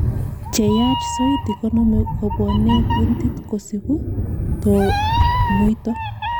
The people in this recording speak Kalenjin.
Cheyach soiti konome kobwone kuntit kosipu tonuito.